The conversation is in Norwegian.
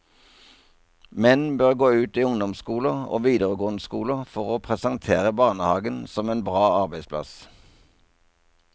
Menn bør gå ut i ungdomsskoler og videregående skoler for å presentere barnehagen som en bra arbeidsplass.